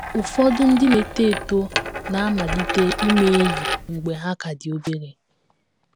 Ụfọdụ ndị na - eto eto na - amalite ime enyi mgbe ha ka dị obere.